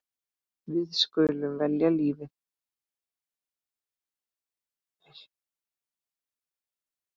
Við skulum velja lífið.